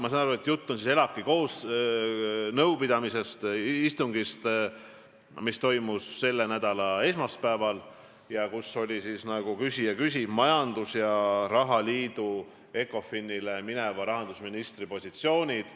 Ma sain aru, et jutt oli ELAK-i istungist, mis toimus selle nädala esmaspäeval ja kus olid kõne all, nagu küsija mainis, majandus- ja rahaliidu ECOFIN-ile mineva rahandusministri positsioonid.